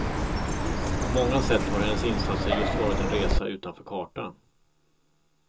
På många sätt har hennes insatser just varit en resa utanför kartan.